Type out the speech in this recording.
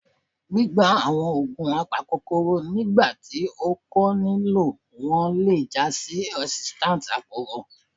Gbigba awọn oogun apakokoro nigbati o ko nilo wọn le ja si resistance aporo.